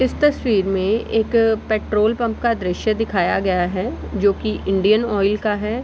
इस तस्वीर में एक पेट्रोल पंप का दृश्य दिखाया गया है जो कि इंडियन ऑयल का है।